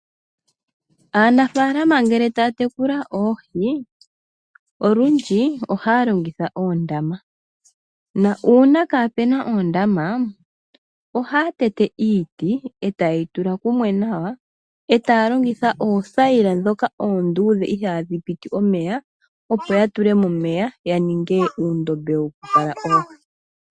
Aanafaalama ngele taya tekula oohi olundji ohaya longitha oondama nuuna kaapu na oondama ohaya tete iiti e taye yi tula kumwe nawa e taya longitha oothayila ndhoka oonduudhe ihaadhi piti omeya, opo ya tule mo omeya ya ninge uundombe wokukala oohi.